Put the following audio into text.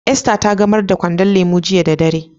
Esther ta gamar da kwandon lemu jiya da dare.